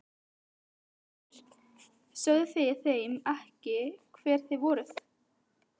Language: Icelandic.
Lára Ómarsdóttir: Sögðuð þið þeim ekki hver þið voruð?